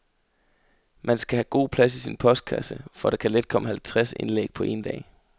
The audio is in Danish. Man skal have god plads i sin postkasse, for der kan let komme halvtreds indlæg på en dag.